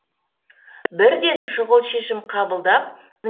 бірден шұғыл шешім қабылдап